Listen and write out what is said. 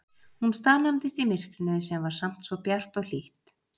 Hún staðnæmdist í myrkrinu sem var samt svo bjart og hlýtt.